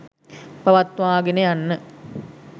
පවත්වාගෙන යන්න